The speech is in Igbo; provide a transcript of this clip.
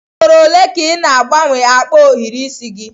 Ugboro ole ka ị na-agbanwe akpa ohiri isi gị?